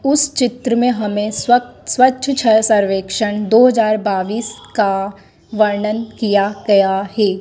उस चित्र में हमें स्वक स्वच्छ छ सर्वेक्षण दो हजार बावीस का वर्णन किया गया है।